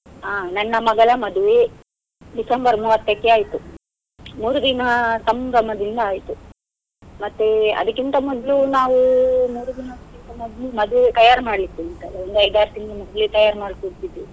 ಆ ನನ್ನ ಮಗಳ ಮದುವೆ, December ಮೂವತ್ತಕ್ಕೆ ಆಯ್ತು. ಮೂರ್ ದಿನ ಸಂಭ್ರಮದಿಂದ ಆಯ್ತು, ಮತ್ತೆ ಅದಿಕ್ಕಿಂತ ಮೊದ್ಲು ನಾವ್ ಮೂರ್ ದಿನಕ್ಕಿಂತ ಮೊದ್ಲು ಮದುವೆ ತಯಾರು ಒಂದ್ ಐದ್ ಆರ್ ತಿಂಗ್ಳು ಮದುವೆ ತಯಾರ್ .